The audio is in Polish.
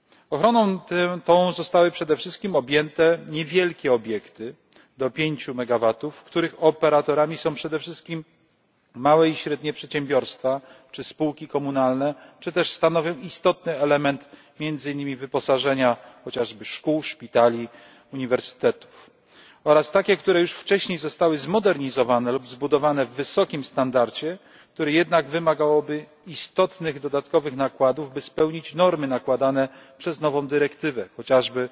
Ochroną tą zostały przede wszystkim objęte niewielkie obiekty do 5MW, których operatorami są przede wszystkim małe i średnie przedsiębiorstwa czy spółki komunalne czy też stanowią istotny element między innymi wyposażenia chociażby szkół, szpitali, uniwersytetów oraz takie, które już wcześniej zostały zmodernizowane lub zbudowane w wysokim standardzie, które jednak wymagałyby istotnych dodatkowych nakładów by spełnić normy nakładane przez nową dyrektywę, chociażby